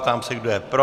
Ptám se, kdo je pro.